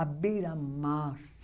à beira-mar